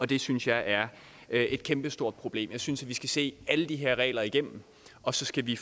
det synes jeg er et kæmpestort problem jeg synes vi skal se alle de her regler igennem og så skal vi